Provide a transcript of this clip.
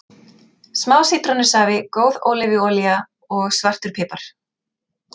Smá sítrónusafi, góð ólífuolía og svartur pipar.